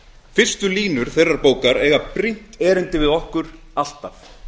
fyrstu línur þeirrar bókar eiga brýnt erindi við okkur alltaf